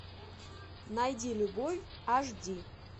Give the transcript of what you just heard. найди любой аш ди